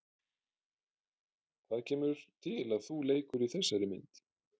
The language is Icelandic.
Hvað kemur til að þú leikur í þessari mynd?